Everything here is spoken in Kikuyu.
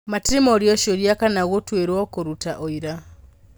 Matirĩ morio ciũria kana gũtwĩrio kũruta ũira.